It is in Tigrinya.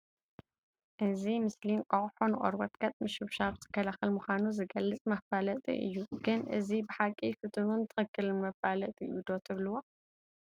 እዚ ምስሊ እንቋቁሖ ንቆርበት ገፅ ምሽብሻብ ዝከላኸል ምዃኑ ዝገልፅ መፋለጢ እዩ፡፡ ግን እዚ ብሓቂ ፍቱንን ትኽኽልን መፋለጢ እዩ ዶ ትብልዎ?